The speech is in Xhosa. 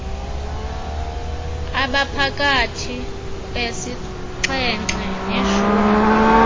abaphakathi kwesixhenxe neshumi